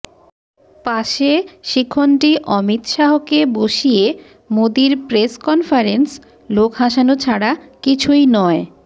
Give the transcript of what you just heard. পাশে শিখণ্ডী অমিত শাহকে বসিয়ে মোদীর প্রেস কনফারেন্স লোক হাসানো ছাড়া কিছুই নয়